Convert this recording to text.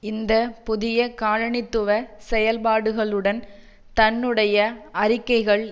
இந்த புதிய காலனித்துவ செயல்பாடுகளுடன் தன்னுடைய அறிக்கைகள்